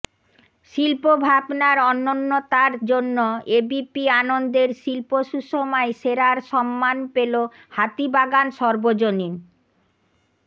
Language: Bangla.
শিল্পভাবনার অনন্যতার জন্য এবিপি আনন্দের শিল্প সুষমায় সেরার সম্মান পেল হাতিবাগান সর্বজনীন